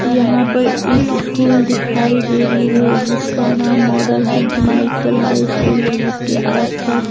यहां पर एक स्कूल दिखाई दे रही है जिसका नाम model Sant Michael high school है जिसके आसपास--